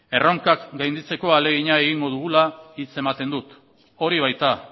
erronkak gainditzeko ahaleginak egingo dugula hitz ematen dut hori baita